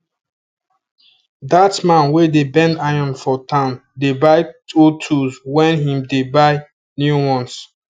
that man wey dey bend iron for town dey buy old tools when him dey buy new ones